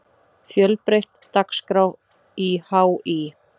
Fjölbreytt dagskrá í HÍ